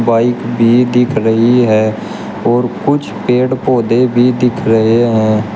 Bike भी दिख रही है और कुछ पेड़ पौधे भी दिख रहे हैं।